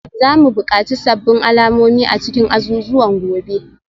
Za mu buƙaci sabbin alamomi a cikin azuzuwan gobe